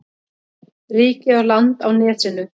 Ríkið á land á nesinu.